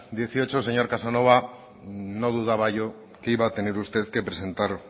dieciocho el señor casanova no dudaba yo que iba a tener usted que presentar